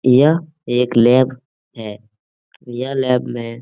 यह एक लैब है यह लैब में --